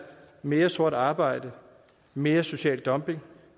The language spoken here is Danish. mere sort arbejde mere social dumping